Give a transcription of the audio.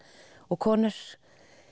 og konur